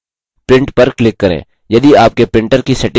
print पर click करें